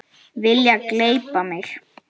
Vilja gleypa mig.